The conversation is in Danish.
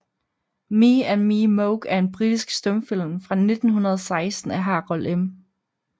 Me and Me Moke er en britisk stumfilm fra 1916 af Harold M